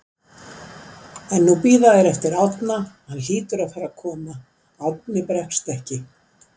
En nú bíða þeir eftir Árna, hann hlýtur að fara að koma, Árni bregst ekki.